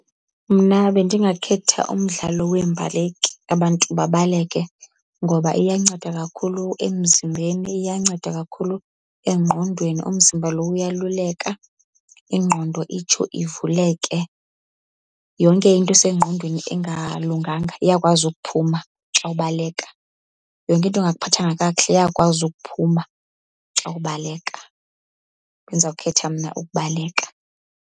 Mna bendingakhetha umdlalo weembaleki, abantu babaleke. Ngoba iyanceda kakhulu emzimbeni, iyanceda kakhulu engqondweni, umzimba lo uyaluleka, ingqondo itsho ivuleke. Yonke into esengqondweni engalunganga iyakwazi ukuphuma xa ubaleka, yonke into engakuphathanga kakuhle iyakwazi ukuphuma xa ubaleka. Bendizawukhetha mna ukubaleka.